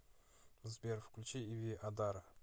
сбер включи иви адара